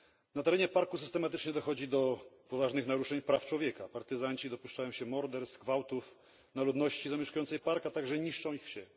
Na terenie parku systematycznie dochodzi do poważnych naruszeń praw człowieka partyzanci dopuszczają się morderstw, gwałtów na ludności zamieszkującej park, a także niszczą ich wsie.